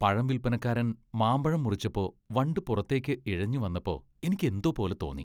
പഴം വിൽപ്പനക്കാരൻ മാമ്പഴം മുറിച്ചപ്പോ വണ്ട് പുറത്തേക്ക് ഇഴഞ്ഞ് വന്നപ്പോ എനിക്ക് എന്തോ പോലെ തോന്നി.